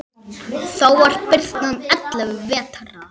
Þá var birnan ellefu vetra.